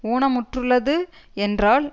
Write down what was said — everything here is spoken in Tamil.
ஊனமுற்றுள்ளது என்றால்